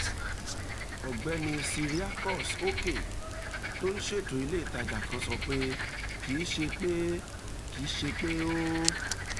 ọ̀gbẹ́ni cyriacus okeh tó ń ṣètò ilé ìtajà kan sọ pé kì í ṣe pé í ṣe pé ó